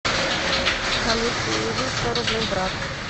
салют переведи сто рублей брат